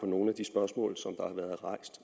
nogle af de spørgsmål